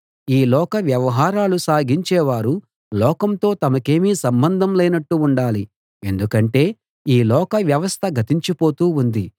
ఈ లోక వ్యవహారాలు సాగించేవారు లోకంతో తమకేమీ సంబంధం లేనట్టు ఉండాలి ఎందుకంటే ఈ లోక వ్యవస్థ గతించిపోతూ ఉంది